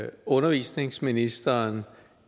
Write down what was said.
at undervisningsministeren